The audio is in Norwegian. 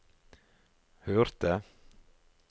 hørte